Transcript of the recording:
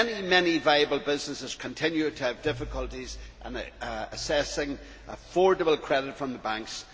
Many viable businesses continue to have difficulties in accessing affordable credit from the banks.